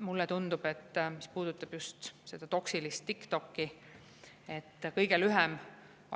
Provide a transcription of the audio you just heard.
Mulle tundub, et mis puudutab just seda toksilist TikTokki, siis kõige lihtsam